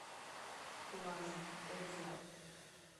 плаза отзывы